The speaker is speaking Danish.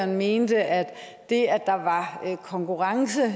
mente at det at der var konkurrence